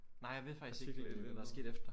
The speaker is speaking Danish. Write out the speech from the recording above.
Nej jeg ved faktisk ikke hvad der skete efter